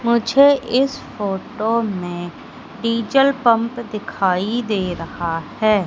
मुझे इस फोटो में डीजल पंप दिखाई दे रहा है।